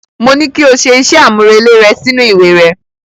Mo ní kí o ṣe iṣẹ́ àmúrelé rẹ sí inú ìwé rẹ.